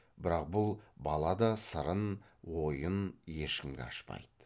бірақ бұл бала да сырын ойын ешкімге ашпайды